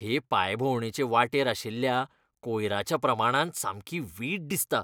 हे पांयभोंवडेचे वाटेर आशिल्ल्या कोयराच्या प्रमाणान सामकी वीट दिसता.